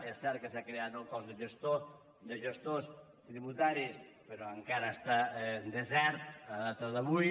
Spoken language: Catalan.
és cert que s’ha creat el cos de gestors tributaris però encara està desert a data d’avui